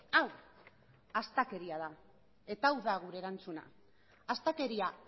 hau astakeria da eta hau da gure erantzuna astakeria